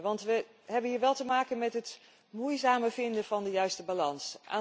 Want we hebben hier wel te maken met het moeizame vinden van de juiste balans.